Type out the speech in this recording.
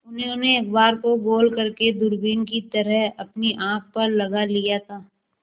उन्होंने अखबार को गोल करने दूरबीन की तरह अपनी आँख पर लगा लिया था